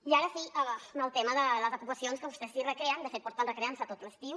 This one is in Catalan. i ara sí el tema de les ocupacions que vostè s’hi recreen de fet porten recreant s’hi tot l’estiu